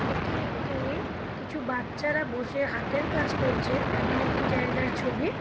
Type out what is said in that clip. এটি একটি কিছু বাচ্চারা বসে হাতের কাজ করছে তেমন একটি জায়গার ছবি।